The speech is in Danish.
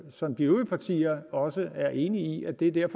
som de øvrige partier også er enige i det er